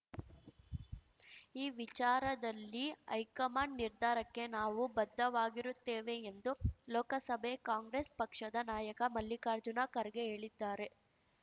ಈ ವಿಚಾರದಲ್ಲಿ ಹೈಕಮಾಂಡ್‌ ನಿರ್ಧಾರಕ್ಕೆ ನಾವು ಬದ್ಧವಾಗಿರುತ್ತೇವೆ ಎಂದು ಲೋಕಸಭೆ ಕಾಂಗ್ರೆಸ್‌ ಪಕ್ಷದ ನಾಯಕ ಮಲ್ಲಿಕಾರ್ಜುನ ಖರ್ಗೆ ಹೇಳಿದ್ದಾರೆ